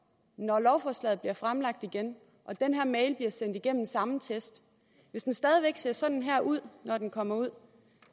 når lovforslaget bliver fremsat igen og den her mail bliver sendt igennem den samme test hvis den stadig væk ser sådan her ud når den kommer ud